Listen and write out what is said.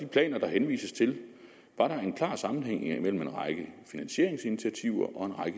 planer der henvises til var der en klar sammenhæng mellem en række finansieringsinitiativer